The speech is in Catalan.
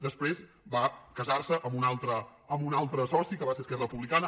després va casar·se amb un altre soci que va ser esquerra re·publicana